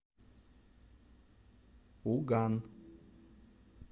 уган